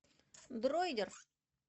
дройдер